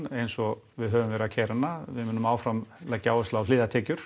eins og við höfum verið að keyra hana við munum áfram leggja áherslu á